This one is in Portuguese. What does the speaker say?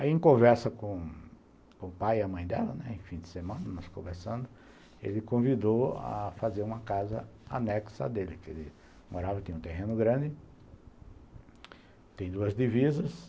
Aí, em conversa com o pai e a mãe dela, né, em fim de semana, nós conversando, ele convidou a fazer uma casa anexa dele, porque ele morava, tinha um terreno grande, tinha duas divisas.